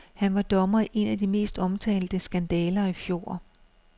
Han var dommer i en af de mest omtalte skandaler i fjor.